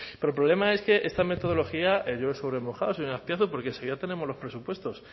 pero el problema es que esta metodología llueve sobre mojado señor azpiazu porque enseguida tenemos los presupuestos